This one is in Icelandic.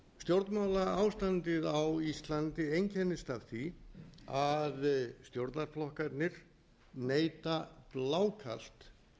stjórnmálaástandið á íslandi einkennist af því að stjórnarflokkarnir neita blákalt